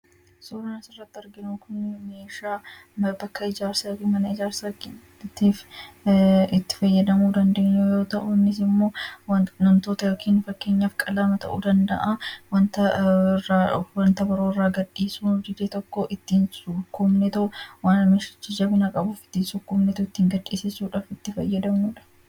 Suuraan asirratti arginu kun meeshaa bakka yookiin mana ijaarsaatiif itti fayyadamuu dandeenyu yoo ta'u, innis immoo wanta tokko wanta biroo irraa ittiin sukkuumnee gadhissisuuf itti fayyadamnudha.